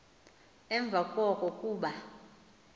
emva koko kuba